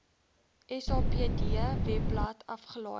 sapd webblad afgelaai